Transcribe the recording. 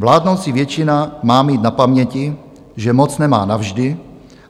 Vládnoucí většina má mít na paměti, že moc nemá navždy,